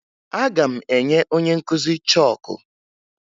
Aga m enye onye nkụzi chọọkụ